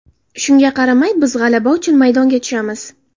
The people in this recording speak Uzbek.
Shunga qaramay biz g‘alaba uchun maydonga tushamiz.